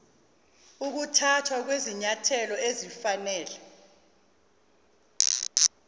ukuthathwa kwezinyathelo ezifanele